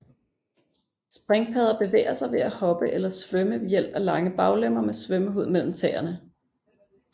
Springpadder bevæger sig ved at hoppe eller svømme ved hjælp af lange baglemmer med svømmehud mellem tæerne